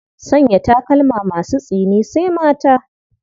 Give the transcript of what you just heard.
Sanya takalma masu tsini sai mata.